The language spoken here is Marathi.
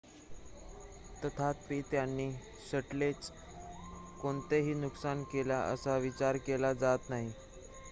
तथापि त्यांनी शटलचे कोणतेही नुकसान केले असा विचार केला जात नाही